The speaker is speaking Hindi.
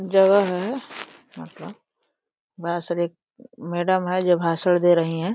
जगह है मतलब एक मैडम हैं जो भाषण दे रहीं हैं।